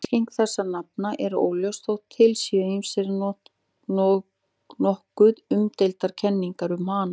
Merking þessara nafna er óljós þótt til séu ýmsar nokkuð umdeildar kenningar um hana.